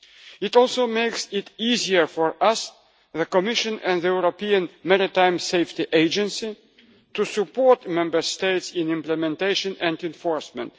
It also makes it easier for us the Commission and the European Maritime Safety Agency to support Member States in implementation and enforcement.